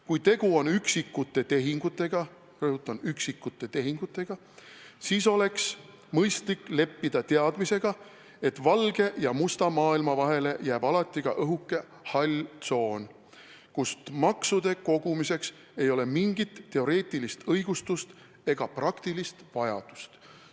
Kui tegu on üksikute tehingutega , siis oleks mõistlik leppida teadmisega, et "valge" ja "musta" maailma vahele jääb alati ka õhuke "hall" tsoon, kust maksude kogumiseks ei ole mingit teoreetilist õigustust ega praktilist vajadust.